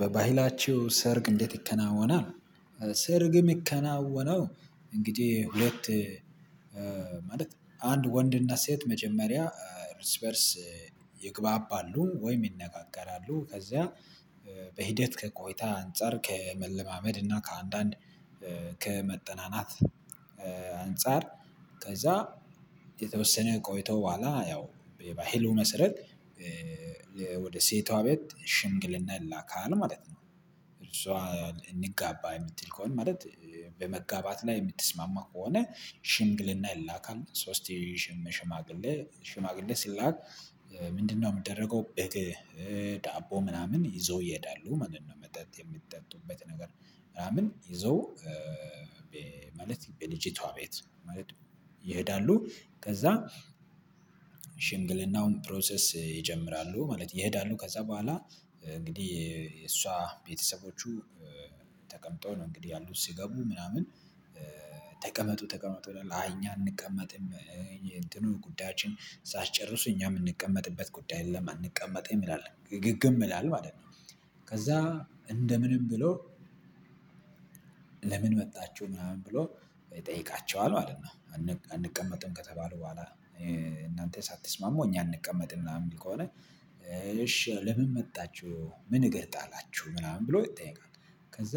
በባህላቸው ሰርግ እንዴት ይከናወናል? ሰርግም ምከናወነው እንግዲህ ሁለት ማለት አንድ ወንድና ሴት መጀመሪያ እርስ በእርስ ይግባባሉ ወይም ይነጋገራሉ ከዛ በሂደት ከቆይታ አንፃር ከመለማመድ እና ከአንዳንድ ከመጠናናት አንፃር ከዛ የተወሰነ ቆይቶ ቦኋላ ያው የባህሉ መስረት ወደ ሴቷ ቤት ሽንግልና ይላካል ማለት ነው። እርሷ እንጋባ የምትል ከሆነ ማለት በመጋባት ላይ የምትስማማ ከሆነ ሽምግልና ይላካል ሶስት ሽምግል ሽማግሌ ሽማግሌ ሲላክ ምንድነው የሚደረገው በቴ ዳቦ ምናምን ይዘው ይሄዳሉ ማለት ነው መጠጥ የሚጠጡበት ነገር ምናምን ይዞ በማለት በልጅቷ ቤት ማለት ይሄዳሉ ከዛ ሽምግልናውን ፕሮሰስ ይጀምራሉ ማለት ይሄዳሉ ከዛ ቦኋላ እንግዲህ እሷ ቤተሰቦቹ ተቀምጦ ነው እንግዲህ ያሉት ሲገቡ ምናምን ተቀመጡ ተቀመጡ አይ እኛ አንቀመጥም እንትኑ ጉዳያችን ሳትጨርሱ እኛ የምንቀመጥበት ጉዳይ ለማን ይላል ግግም ይላል ማለት ነው። ከዛ እንደ ምንም ብሎ ለምን መጣችሁ ምናምን ብሎ ይጠይቃችኋል አንቀመጥም ከተባሉ ቦኋላ እናንተ ሳትስማሙ እኛ አንቀመጥም ምናምን ከሆነ እሺ ለምን መጣችሁ ምን እገር ጣላችሁ ምናምን ብሎ ይጠይቃል ከዛ